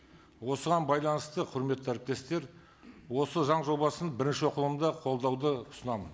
осыған байланысты құрметті әріптестер осы заң жобасын бірінші оқылымда қолдауды ұсынамын